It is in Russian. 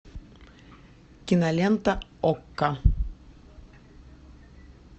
кинолента окко